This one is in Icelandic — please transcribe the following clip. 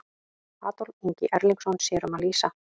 Adolf Ingi Erlingsson sér um að lýsa.